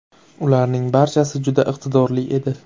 Ularning barchasi juda iqtidorli edi.